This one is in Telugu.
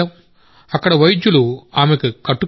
అక్కడ వైద్యుడు ఆమెకు కట్టు కట్టాడు